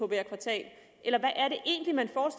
hvert kvartal